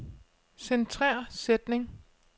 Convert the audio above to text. Centrer sætning.